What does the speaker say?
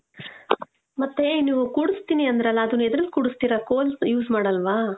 ಮತ್ತೇ, ನೀವು ಕೂಡುಸ್ತೀನಿ ಅಂದ್ರಲ್ಲ, ಅದನ್ ಎದ್ರಲ್ ಕೂಡುಸ್ತೀರ, ಕೋಲ್ use ಮಾಡಲ್ವಾ?